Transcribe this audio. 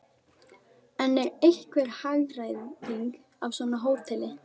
En er einhver hagræðing af svona hóteli?